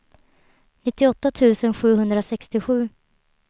nittioåtta tusen sjuhundrasextiosju